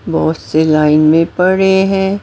बहुत से लाइन में पड़े है।